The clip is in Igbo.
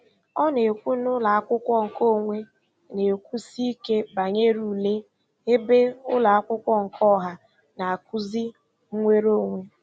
Ọ na-ekwu na ụlọakwụkwọ nke onwe na-ekwusi ike banyere ule, ebe ụlọakwụkwọ nke ọha na-akụzi nwereonwe.